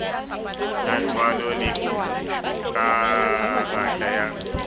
sa tswalo le karata ya